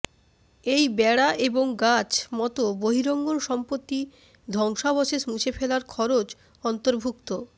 এই বেড়া এবং গাছ মত বহিরঙ্গন সম্পত্তি ধ্বংসাবশেষ মুছে ফেলার খরচ অন্তর্ভুক্ত